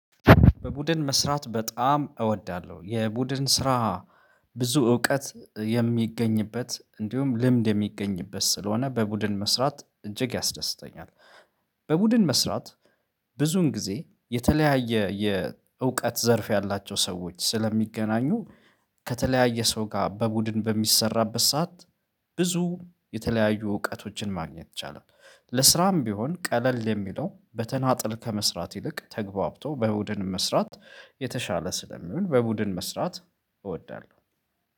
በቡድን መስራት በጣም እወዳለሁ የቡድን ስራ ብዙ እውቀት የሚገኝበት እንዲሁም ልምድ የሚገኝበት ስለሆነ በቡድን መስራት እጅግ ያስደስተኛል። በቡድን መስራት። ብዙን ጊዜ የተለያየ የእውቀት ዘርፍ ያላቸው ሰዎች ስለሚገናኙ ከተለያየ ሰው ጋር በቡድን በሚሰራበት ሰዓት ብዙ የተለያዩ እውቀቶችን ማግኘት ይቻላል። ለስራም ቢሆን ቀለል የሚለው በተናጠል ከመስራት ይልቅ ተግባብቶ በቡድን መስራት የተሻለ ስለሚሆን በቡድን መስራት እወዳለሁ